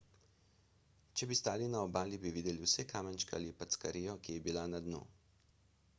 če bi stali na obali bi videli vse kamenčke ali packarijo ki je bila na dnu